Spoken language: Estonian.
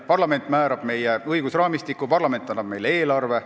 Parlament määrab meie õigusraamistiku ja parlament annab meile eelarve.